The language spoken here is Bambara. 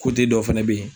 dɔw fɛnɛ bɛ ye